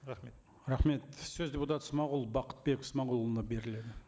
рахмет рахмет сөз депутат смағұл бақытбек смағұлұлына беріледі